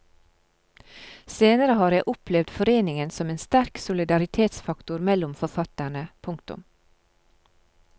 Senere har jeg opplevd foreningen som en sterk solidaritetsfaktor mellom forfatterne. punktum